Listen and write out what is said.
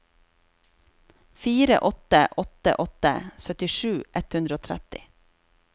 fire åtte åtte åtte syttisju ett hundre og tretti